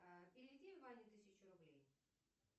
переведи ване тысячу рублей